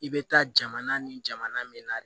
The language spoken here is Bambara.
I bɛ taa jamana ni jamana min na